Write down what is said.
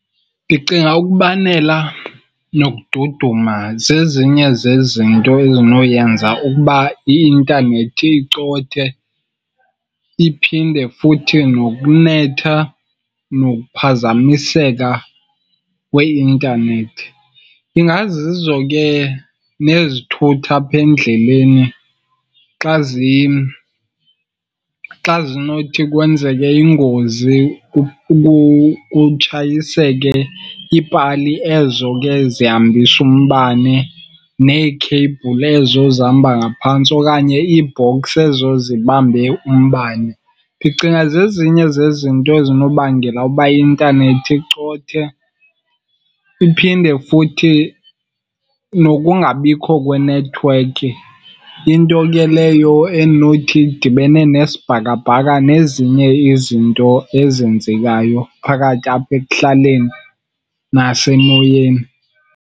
Ndicinga ukubanela nokududuma zezinye zezinto ezinoyenza ukuba i-intanethi icothe. Iphinde futhi nokunetha nokuphazamiseka kweintanethi. Ingazizo ke nezithuthi apha endleleni, xa , xa zinothi kwenzeke ingozi kutshayiseke iipali ezo ke zihambisa umbane neekheyibhuli ezo zihamba ngaphantsi, okanye ii-box ezo zibambe umbane. Ndicinga zezinye zezinto ezinobangela uba i-intanethi icothe. Iphinde futhi nokungabikho kwenethiwekhi. Into ke leyo endinothi idibene nesibhakabhaka nezinye izinto ezenzekayo phakathi apha ekuhlaleni nasemoyeni.